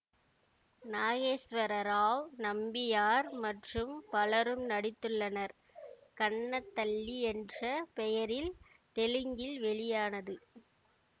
நாகேஸ்வர ராவ் நம்பியார் மற்றும் பலரும் நடித்துள்ளனர் கன்ன தல்லி என்ற பெயரில் தெலுங்கில் வெளியானது